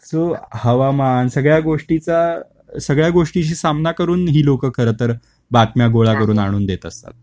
so हवामान सगळ्या गोष्टीचा, सगळा गोष्टीशी सामना करून ही लोक खरं तर बातम्या गोळा करून आणून देत असतात